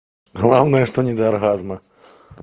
главное что не до оргазма